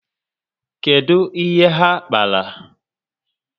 Kedu ihe ha kpara?